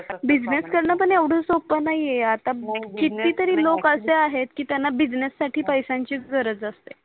BUSINESS करण पण येवड सोफ नाही आहे आता नाही हो ऐक्चुली किती तरी लोक असे आहे की त्यांना बिझनेससाठी त्यांना पैसयाची गरज असते